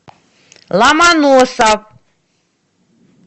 ломоносов